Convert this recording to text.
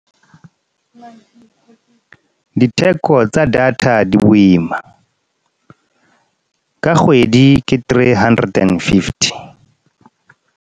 Diteko tsa data di boima. Ka kgwedi ke three hundred and fifty.